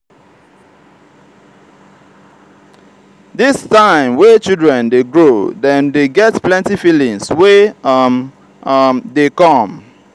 dis time wey children dey grow dem dey get plenty feelings wey um um dey come.